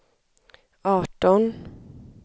arton